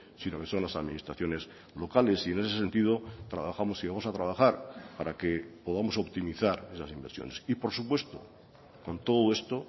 sino que son las administraciones locales y en ese sentido trabajamos y vamos a trabajar para que podamos optimizar esas inversiones y por supuesto con todo esto